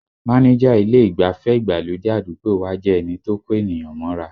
Máníjà ilé ìgbafẹ́ ìgbàlódé àdúgbò wa jẹ́ ẹni tó kó ènìyàn mọ́ra